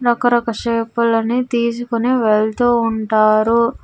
రకరక shape లని తీసుకొని వెళ్తూ ఉంటారు.